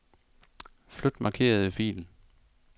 Flyt markerede fil.